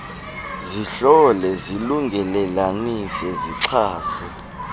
zihlole zilungelelanise zixhase